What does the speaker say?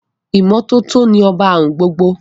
Ìmọ́tótó ni ọba àrùn gbogbo